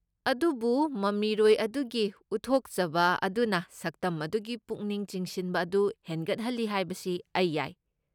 ꯑꯗꯨꯕꯨ ꯃꯃꯤꯔꯣꯏ ꯑꯗꯨꯒꯤ ꯎꯠꯊꯣꯛꯆꯕ ꯑꯗꯨꯅ ꯁꯛꯇꯝ ꯑꯗꯨꯒꯤ ꯄꯨꯛꯅꯤꯡ ꯆꯤꯡꯁꯤꯟꯕ ꯑꯗꯨ ꯍꯦꯟꯒꯠꯍꯜꯂꯤ ꯍꯥꯏꯕꯁꯤ ꯑꯩ ꯌꯥꯏ꯫